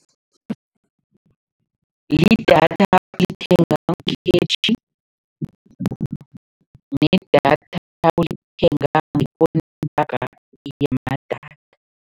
Lidatha olithenga ngekhetjhi nedatha olithenga ngekontraga yamadatha.